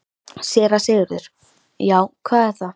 SÉRA SIGURÐUR: Já, hvað er það?